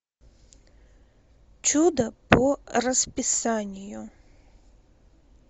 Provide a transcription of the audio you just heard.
чудо по расписанию